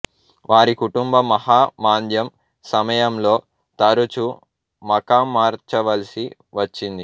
వారి కుటుంబం మహా మాంద్యం సమయంలో తరచూ మకాం మార్చవలసి వచ్చింది